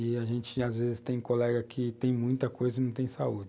E a gente, às vezes, tem colega que tem muita coisa e não tem saúde.